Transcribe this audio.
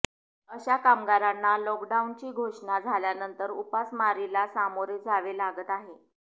अशा कामगारांना लॉकडाऊनची घोषणा झाल्यानंतर उपासमारीला सामोरे जावे लागत आहे